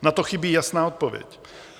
Na to chybí jasná odpověď.